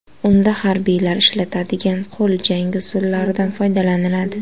Unda harbiylar ishlatadigan qo‘l jangi usullaridan foydalaniladi.